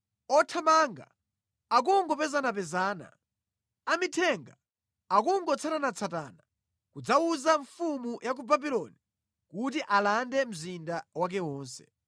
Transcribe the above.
Othamanga akungopezanapezana, amithenga akungotsatanatsatana kudzawuza mfumu ya ku Babuloni kuti alande mzinda wake wonse.